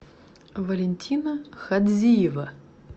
валентина хадзиева